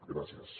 gràcies